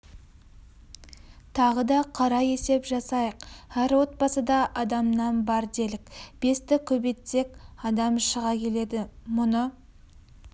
тағы да қара есеп жасайық әр отбасыда адамнан бар делік бесті көбейтсек адам шыға келеді мұны